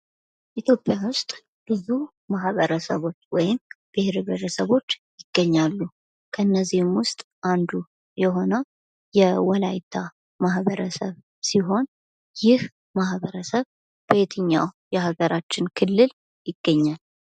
ኢትዮጵያ ውስጥ ብዙ ማህበረሰቦች ወይም ብሔር ብሔረሰቦች ይገኛሉ። ከነዚህም ውስጥ አንዱ የሆነው የወላይታ ማህበረሰብ ሲሆን ይህ ማህበረሰብ በየትኛው የሀገራችን ክልል ይገኛል?